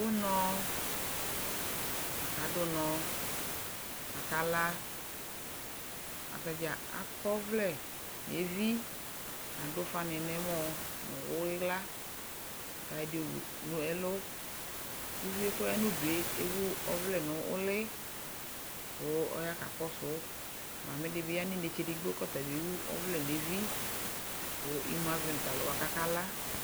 Unɔ, aka dʋ nɔ, k'aka la, atadzaa ak'ɔvlɛ n'evi, k'adʋ ufanɩ n'ɛmɔ nʋ ɩɣla, k'ayɔ ɛdɩ wu n'ɛlʋ Uvi yɛ k'ɔya n'udu yɛ ewu ɔvlɛ nʋ ʋlɩ kʋ ɔya kakɔsʋ, Mamɩdɩ bɩ ya n'inetsedigbo k'ɔtabɩ ewu ɔvlɛ n'evi kʋ imu avɛ nʋ talʋwa kaka la